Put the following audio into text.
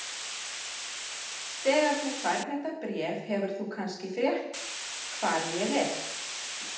Þegar þú færð þetta bréf hefur þú kannski frétt hvar ég er.